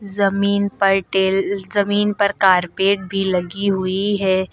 जमीन पर टेल जमीन पर कारपेट भी लगी हुई है।